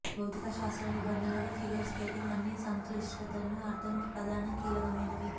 భౌతిక శాస్త్ర నిబంధనలకు ఫిగర్ స్కేటింగ్ అన్ని సంక్లిష్టతలను అర్థం ప్రధాన కీలకమైనవి